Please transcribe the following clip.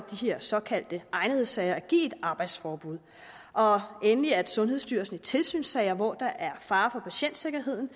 de her såkaldte egnethedssager at give et arbejdsforbud og endelig at sundhedsstyrelsen i tilsynssager hvor der er fare for patientsikkerheden